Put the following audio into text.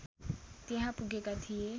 त्यहाँ पुगेका थिए